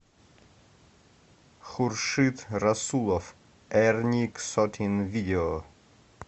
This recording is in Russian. хуршид расулов эрни ксотин видео